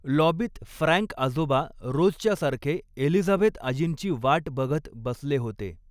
लॉबीत Frank आजोबा रोजच्यासारखे Elizabeth आजींची वाट बघत बसले होते.